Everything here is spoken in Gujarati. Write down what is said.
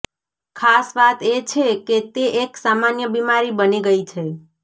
ખાસ વાત એ છે કે તે એક સામાન્ય બીમારી બની ગઈ છે